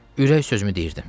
Ürək sözümü deyirdim.